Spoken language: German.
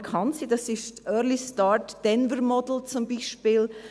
Das ist zum Beispiel das «Early Start Denver Model (ESDM)».